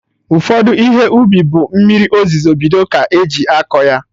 Ụfọdụ Ihe ubi bụ mmiri ozuzo bido ka eji akọ ya